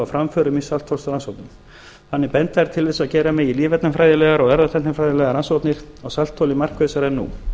framförum í saltþolsrannsóknum þannig benda þær til þess að gera megi lífefnafræðilegar og erfðatæknifræðilegar rannsóknir á saltþoli markvissari en nú